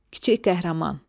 Kiçik qəhrəman.